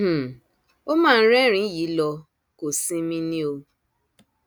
um ó mà ń rẹrìnín yìí lọ kò sinmi ni o